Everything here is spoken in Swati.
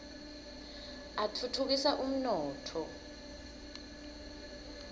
atfutfukisa umnotfo